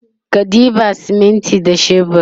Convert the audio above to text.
ka ɗeba siminti da shebur